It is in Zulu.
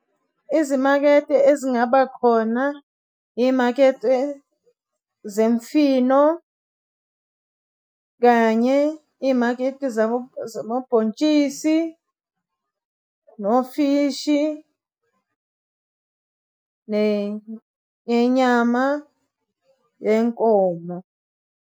Izimakede ezingaba khona iy'makede zemfino kanye iy'makede zabobhontshisi, nofishi nenyama yenkomo.